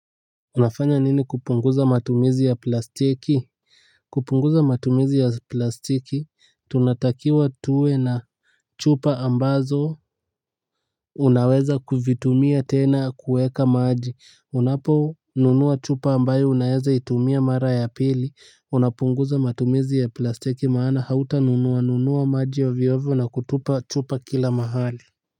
Unafanya nini kupunguza matumizi ya plastiki? Kupunguza matumizi ya plastiki, tunatakiwa tuwe na chupa ambazo unaweza kuvitumia tena kueka maji, unapo nunua chupa ambayo unaweza itumia mara ya pili, unapunguza matumizi ya plastiki maana hauta nunua, nunua maji ovyo ovyo na kutupa chupa kila mahali.